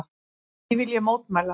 Því vil ég mótmæla!